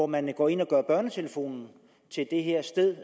man går ind og gør børnetelefonen til det her sted